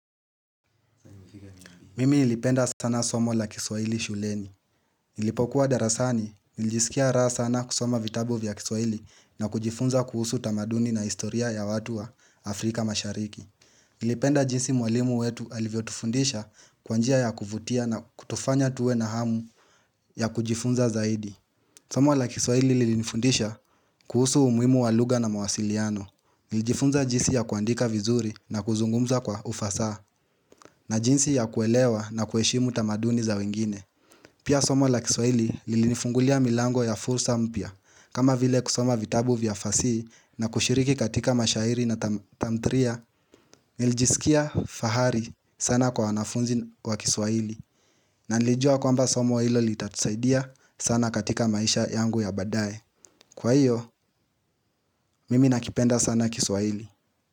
Mimi ilipenda sana somo la kiswaili shuleni. Ilipokuwa darasani, ilijisikia raha sana kusoma vitabu vya kiswaili na kujifunza kuhusu tamaduni na istoria ya watu wa Afrika mashariki. Ilipenda jinsi mwalimu wetu alivyo tufundisha kwanjia ya kuvutia na kutufanya tuwe na hamu ya kujifunza zaidi. Somo la kiswaili ilifundisha kuhusu umuimu waluga na mawasiliano. Ilijifunza jinsi ya kuandika vizuri na kuzungumza kwa ufasa. Na jinsi ya kuelewa na kuheshimu tamaduni za wengine. Pia somo la kiswaili lilinifungulia milango ya fursa mpia. Kama vile kusoma vitabu vya fasihi na kushiriki katika mashairi na tamtria, niljisikia fahari sana kwa wanafunzi wa kiswaili. Na nilijua kwamba somo ilo liitatusaidia sana katika maisha yangu ya badae. Kwa hiyo, mimi nakipenda sana kiswaili.